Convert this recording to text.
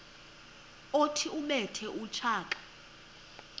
othi ubethe utshaka